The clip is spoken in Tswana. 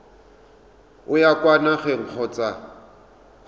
o ya kwa nageng kgotsa